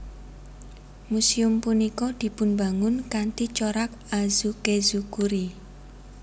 Muséum punika dipunbangun kanthi corak Azukezukuri